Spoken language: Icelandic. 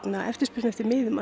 eftirspurn eftir miðum